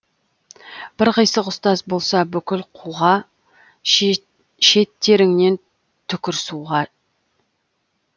бір қисық ұстаз болса бүкіл қуға шеттеріңнен түкір суға